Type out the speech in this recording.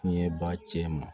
Tiɲɛba cɛman